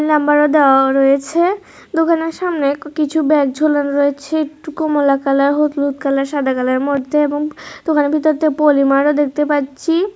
লাম্বারও দেওয়া রয়েছে দোকানের সামনে কিছু ব্যাগ ঝোলানো রয়েছে টুকু কমলা কালার হলুদ হলুদ কালার সাদা কালারের মধ্যে এবং দোকানের ভিতর দিয়ে পলিমারও দেখতে পাচ্ছি।